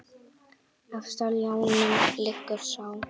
Efst á ljánum liggur sá.